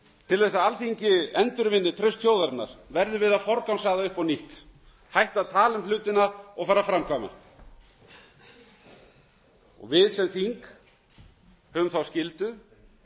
til þess að alþingi endurvinni traust þjóðarinnar verðum við að forgangsraða upp á nýtt hætta að tala um hlutina og fara að framkvæma við sem þingmenn höfum þá skyldu